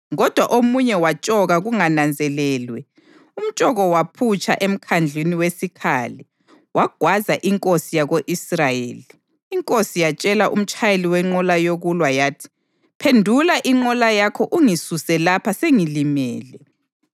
Kodwa omunye watshoka kungananzelelwe umtshoko waphutsha emkhandlwini wesikhali wagwaza inkosi yako-Israyeli. Inkosi yatshela umtshayeli wenqola yokulwa yathi, “Phendula inqola yakho ungisuse lapha, sengilimele.”